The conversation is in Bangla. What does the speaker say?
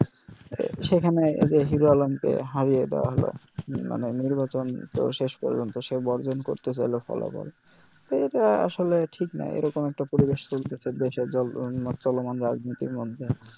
সেইখানে যে hero alarm কে হারিয়া দেওয়া হলও মানে নির্বাচন তো শেষ পর্যন্ত সে বর্জন করতে চাইল ফলাফল তো এটা আসলে ঠিক না এরকম একটা পরিবেশ চলমান রাজনীতির মধ্যে